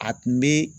A tun bɛ